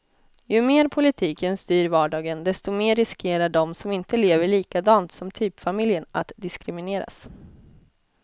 Ju mer politiken styr vardagen, desto mer riskerar de som inte lever likadant som typfamiljen att diskrimineras.